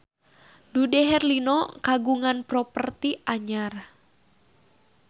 Dude Herlino kagungan properti anyar